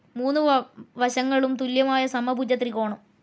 മൂന്നു വശങ്ങളും തുല്യമായ സമഭുജ ത്രികോണം